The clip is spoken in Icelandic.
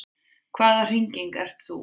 Hvaða hringing ert þú?